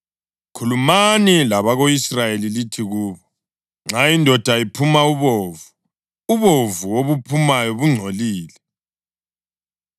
“Khulumani labako-Israyeli lithi kubo: ‘Nxa indoda iphuma ubovu, ubovu obuphumayo bungcolile.